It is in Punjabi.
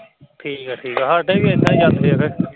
ਠੀਕ ਏ ਠੀਕ ਏ ਸਾਡੇ ਵੀ ਐਨਾ ਈ ਜਾਂਦੇ ਆ ਫਿਰ